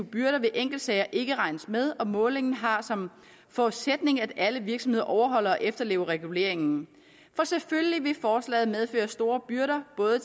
byrder ved enkeltsager ikke regnes med og målingen har som forudsætning at alle virksomheder overholder og efterlever reguleringen for selvfølgelig vil forslaget medføre store byrder både